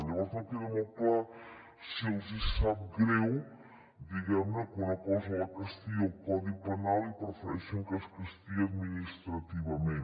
llavors no queda molt clar si els hi sap greu diguem ne que una cosa la castigui el codi penal i prefereixen que es castigui administrativament